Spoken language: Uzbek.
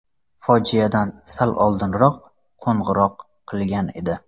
Fojiadan sal oldinroq qo‘ng‘iroq qilgan edi.